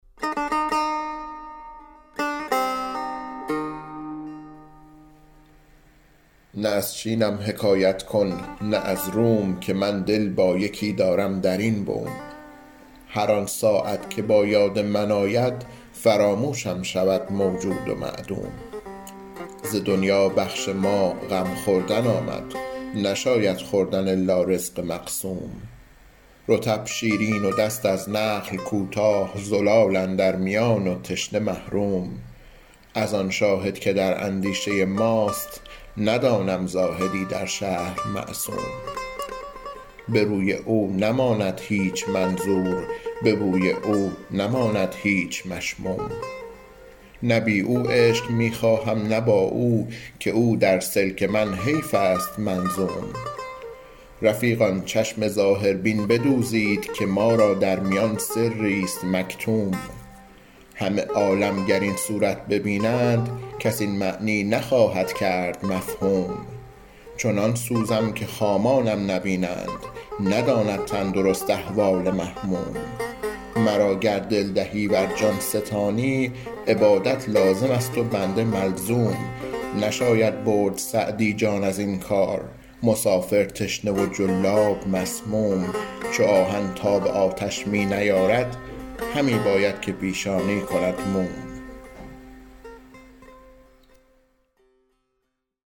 نه از چینم حکایت کن نه از روم که من دل با یکی دارم در این بوم هر آن ساعت که با یاد من آید فراموشم شود موجود و معدوم ز دنیا بخش ما غم خوردن آمد نشاید خوردن الا رزق مقسوم رطب شیرین و دست از نخل کوتاه زلال اندر میان و تشنه محروم از آن شاهد که در اندیشه ماست ندانم زاهدی در شهر معصوم به روی او نماند هیچ منظور به بوی او نماند هیچ مشموم نه بی او عیش می خواهم نه با او که او در سلک من حیف است منظوم رفیقان چشم ظاهربین بدوزید که ما را در میان سریست مکتوم همه عالم گر این صورت ببینند کس این معنی نخواهد کرد مفهوم چنان سوزم که خامانم نبینند نداند تندرست احوال محموم مرا گر دل دهی ور جان ستانی عبادت لازم است و بنده ملزوم نشاید برد سعدی جان از این کار مسافر تشنه و جلاب مسموم چو آهن تاب آتش می نیارد همی باید که پیشانی کند موم